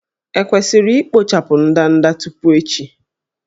E kwesịrị ikpochapụ ndanda tupu echi?